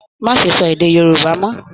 Má ṣe sọ èdè Yorùbá mọ!